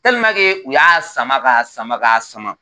u y'a sama ka sama ka sama